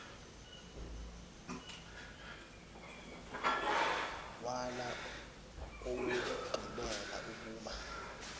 wala owokugqibela ukuba